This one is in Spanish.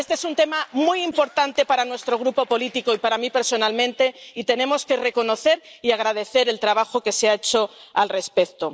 Este es un tema muy importante para nuestro Grupo político, y para mí personalmente, y tenemos que reconocer y agradecer el trabajo que se ha hecho al respecto.